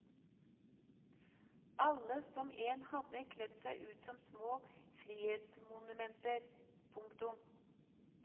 Alle som én hadde kledt seg ut som små frihetsmonumenter. punktum